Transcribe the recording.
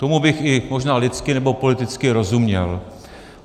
Tomu bych i možná lidsky nebo politicky rozuměl.